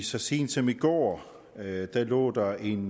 så sent som i går lå der lå der en